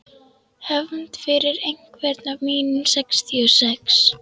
Hefnd fyrir einhvern af mínum sextíu og sex.